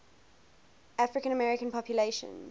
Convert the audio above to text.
african american population